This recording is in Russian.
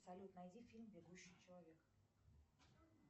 салют найди фильм бегущий человек